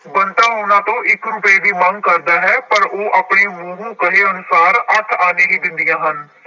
ਬੰਤਾ ਉਹਨਾਂ ਤੋਂ ਇੱਕ ਰੁਪਏ ਦੀ ਮੰਗ ਕਰਦਾ ਹੈ ਪਰ ਉਹ ਆਪਣੇ ਮੂੰਹੋਂ ਕਹੇ ਅਨੁਸਾਰ ਅੱਠ ਆਨੇ ਹੀ ਦਿੰਦੀਆਂ ਹਨ।